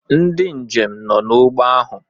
ndị njem nọ n'ụgbọ ahụ